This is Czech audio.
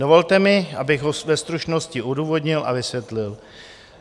Dovolte mi, abych ho ve stručnosti odůvodnil a vysvětlil.